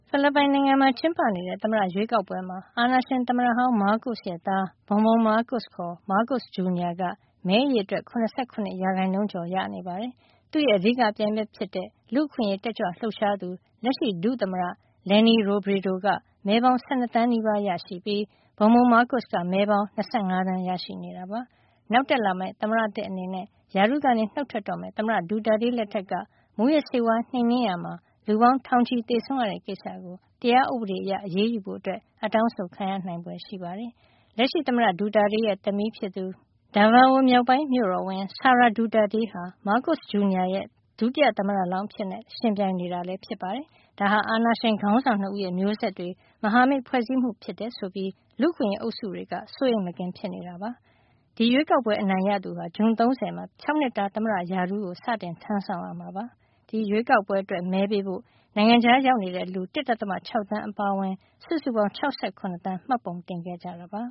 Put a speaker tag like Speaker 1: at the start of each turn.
Speaker 1: ဖိလစ်ပိုင်နိုင်ငံမှာ ကျင်းပနေတဲ့ သမ္မတရွေးကောက်ပွဲမှာ အာဏာရှင်သမ္မတဟောင်း မားကို့စ်ရဲ့ သား Bong Bong မားကို့စ် ခေါ် မားကို့စ် ဂျူနီယာ က မဲအရေအတွက် ၇၇ ရာခိုင်နှုန်းကျော်ရရှိနေပါတယ်။ သူ့ရဲ့ အဓိကပြိုင်ဘက် ဖြစ်တဲ့ လူ့အခွင့်ရေး တက်ကြွလှုပ်ရှားသူ လက်ရှိ ဒုသမ္မတ Leni Robredo က မဲပေါင်း ၁၂ သန်းနီးပါးရရှိပြီး Bong Bong မားကို့စ်က မဲပေါင်း ၂၅ သန်း ရရှိနေတာပါ။ နောက်တက်လာမယ့် သမ္မတသစ် အနေနဲ့ ရာထူးကနေ နှုတ်ထွက်တော့မယ့် သမ္မတ Duterte လက်ထက်က မူးယစ်ဆေးဝါး နှိမ်နင်းရာမှာ လူပေါင်း ထောင်ချီ သေဆုံးရတဲ့ ကိစ္စကို တရားဥပဒေအရ အရေးယူဖို့ အတောင်းဆိုခံရနိုင်ဖွယ် ရှိနေပါတယ်။ လက်ရှိသမ္မတ Duterte ရဲ့ သမီး Daveo မြောက်ပိုင်းမြို့တော်ဝန် Sara Duterte ဟာ မားကို့စ် ဂျူနီယာ ရဲ့ ဒုတိယသမ္မတလောင်း အဖြစ် ယှဉ်ပြိုင်နေတာဖြစ်ပါတယ်။ ဒါဟာ အာဏာရှင်ခေါင်းဆောင် ၂ ဦးရဲ့ မျိုးဆက်တွေ မဟာမိတ် ဖွဲ့စည်းမှု ဖြစ်တယ်ဆိုပြီး လူ့အခွင့်ရေး အုပ်စုတွေက စိုးရိမ်မကင်း ဖြစ်နေကြပါတယ်။ ဒီရွေးကောက်ပွဲ အနိုင်ရရှိသူဟာ ဇွန်လ ၃၀ ရက်နေ့မှာ ၆နှစ်တာသမ္မတရာထူးကို စတင်ထမ်းဆောင်ရမှာ ဖြစ်ပါတယ်။ ဒီရွေးကောက်ပွဲမှာ မဲပေးဖို့အတွက် နိုင်ငံခြားရောက်နေတဲ့ လူ ၁.၆ သန်းအပါအဝင် စုစုပေါင်း ၆၇ သန်း မှတ်ပုံတင်ခဲ့ကြပါ